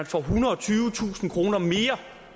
får ethundrede og tyvetusind kroner mere